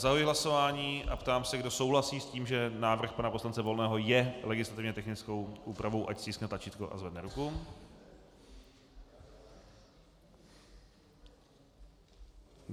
Zahajuji hlasování a ptám se, kdo souhlasí s tím, že návrh pana poslance Volného je legislativně technickou úpravou, ať stiskne tlačítko a zvedne ruku.